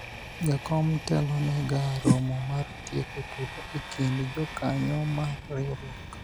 jakom telo ne ga romo mar tieko tulo e kind jokanyo mar riwruok